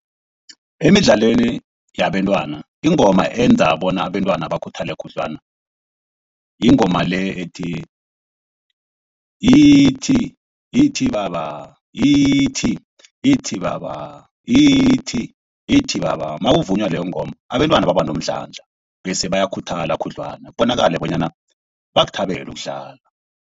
Emidlalweni yabantwana ingoma eyenza bona abentwana bakhuthale khudlwana yingoma le ethi. Yithi yithi baba yithi yithi baba yithi yithi baba. Nakuvunywa leyo ngomba abentwana babanomdlandla bese bayakhuthala khudlwana. Kubonakale bonyana bakuthabele ukudlala.